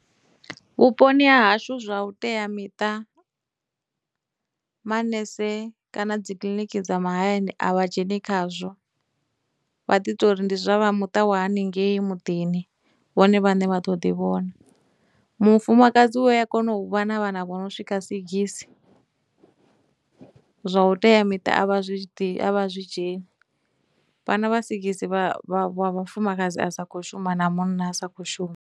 Vhuponi ha hashu zwa vhuteamiṱa manese kana dzikiḽiniki dza mahayani a vha dzheni khazwo, vha ḓi tori ndi zwa vha muṱa wa haningei muḓini vhone vhaṋe vha ḓo ḓi vhona. Mufumakadzi u ya kona u vha na vhana vho no swika sigisi, zwa u teamiṱa a vha zwi ḓi, a vha zwi dzheni, vhana vha sigisi vha vha vha vhafumakadzi a sa khou shuma na munna a sa khou shuma.